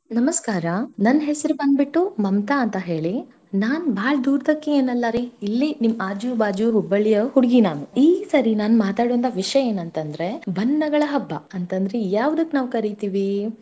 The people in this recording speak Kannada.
ನಮಸ್ಕಾರ ನನ್ನ ಹೆಸರುಬಂದ್ಬಿಟ್ಟು ಮಮತಾ ಅಂತ ಹೇಳಿ ನಾನ ಬಾಳ ದೂರದಕಿ ಏನಲ್ಲಾರೀ ಇಲ್ಲಿ ನಿಮ್ಮ ಆಜು ಬಾಜು Hubballi ಯ ಹುಡುಗಿ ನಾನ, ಈ ಸರಿ ನಾನ್ ಮಾತಾಡುವಂತ ವಿಷಯ ಏನಂತಂದ್ರೆ ಬಣ್ಣಗಳ ಹಬ್ಬ ಅಂತಾದ್ ಯಾವದಕ್ಕ ನಾವ ಕರೀತೀವಿ.